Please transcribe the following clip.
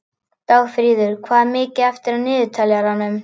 Dagfríður, hvað er mikið eftir af niðurteljaranum?